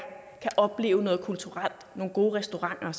kan opleve noget kulturelt nogle gode restauranter